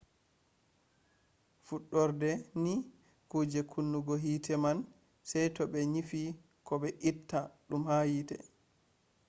fuɗɗorde ni kuje kunnugo hite man sey to ɓe nyifi ko be itta ɗum ha hite